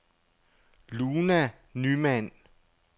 Luna Nymann